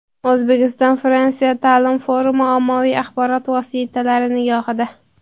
O‘zbekiston-Fransiya ta’lim forumi ommaviy axborot vositalari nigohida.